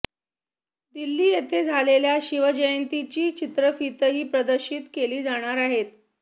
दिल्ली येथे झालेल्या शिवजयंतीची चित्रफीतही प्रदर्शित केली जाणार आहे